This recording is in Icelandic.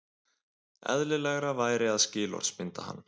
Eðlilegra væri að skilorðsbinda hann